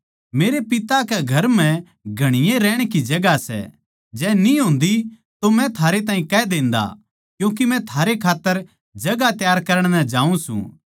मेरै पिता कै घर म्ह घणीए रहण की जगहां सै जै न्ही होंदी तो मै थारै ताहीं कह देंदा क्यूँके मै थारै खात्तर जगहां त्यार करण नै जाऊँ सूं